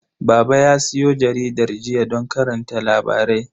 Baba ya siyo jaridar jiya don karanta labarai.